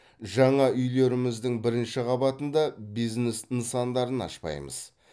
жаңа үйлеріміздің бірінші қабатында бизнес нысандарын ашпаймыз